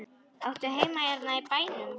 Áttu heima hérna í bænum?